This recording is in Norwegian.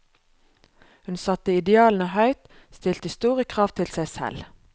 Hun satte idealene høyt, stilte store krav til seg selv.